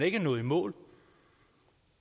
ikke er nået i mål